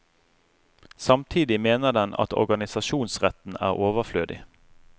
Samtidig mener den at organisasjonsretten er overflødig.